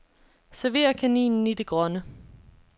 Server kaninen i det grønne.